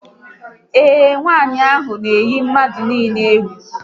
Ee, nwanyị ahụ na eyi mmadụ niile ụjọ